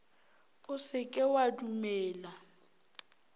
o se ke wa dumela